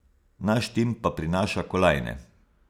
Naš tim pa prinaša kolajne.